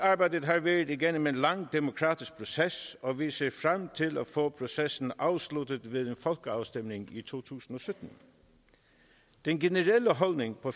har været igennem en lang demokratisk proces og vi ser frem til at få processen afsluttet ved en folkeafstemning i to tusind og sytten den generelle holdning på